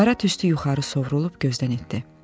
Qara tüstü yuxarı sovrulub gözdən itdi.